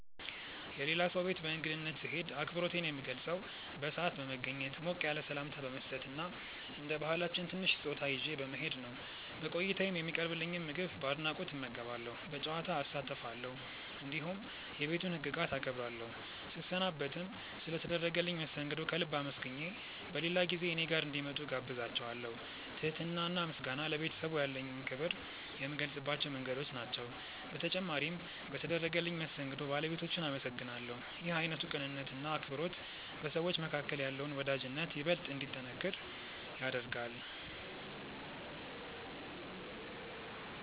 የሌላ ሰው ቤት በእንግድነት ስሄድ አክብሮቴን የምገልጸው በሰዓት በመገኘት፣ ሞቅ ያለ ሰላምታ በመስጠት እና እንደ ባህላችን ትንሽ ስጦታ ይዤ በመሄድ ነው። በቆይታዬም የሚቀርብልኝን ምግብ በአድናቆት እመገባለሁ፣ በጨዋታ እሳተፋለሁ፣ እንዲሁም የቤቱን ህግጋት አከብራለሁ። ስሰናበትም ስለ ተደረገልኝ መስተንግዶ ከልብ አመስግኜ በሌላ ጊዜ እኔ ጋር እንዲመጡ እጋብዛቸዋለው። ትህትና እና ምስጋና ለቤተሰቡ ያለኝን ክብር የምገልጽባቸው መንገዶች ናቸው። በተጨማሪም በተደረገልኝ መስተንግዶ ባለቤቶቹን አመሰግናለሁ። ይህ አይነቱ ቅንነት እና አክብሮት በሰዎች መካከል ያለውን ወዳጅነት ይበልጥ እንዲጠነክር ያደርጋል።